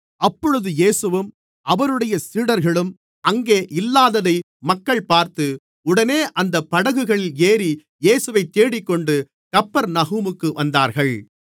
அப்பொழுது இயேசுவும் அவருடைய சீடர்களும் அங்கே இல்லாததை மக்கள் பார்த்து உடனே அந்தப் படகுகளில் ஏறி இயேசுவைத் தேடிக்கொண்டு கப்பர்நகூமுக்கு வந்தார்கள்